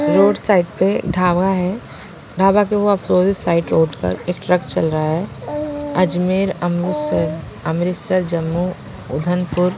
road side पे ढाबा है ढाबा के वो उस साइट रोड पर एक ट्रक चल रहा है अजमेर अमृतसर अमृतसर जम्मू उदनपुर--